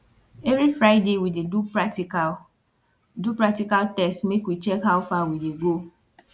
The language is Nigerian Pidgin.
every friday we dey do practical do practical test make we check how far we dey do